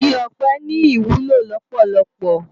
Igi òpè ni iwúló lópólópó